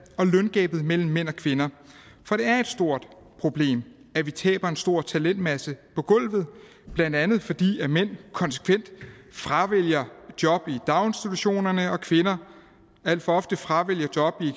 og løngabet mellem mænd og kvinder for det er et stort problem at vi taber en stor talentmasse på gulvet blandt andet fordi mænd konsekvent fravælger job i daginstitutionerne og kvinder alt for ofte fravælger job i